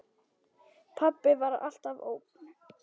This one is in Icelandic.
Pabbi var alltaf ógn.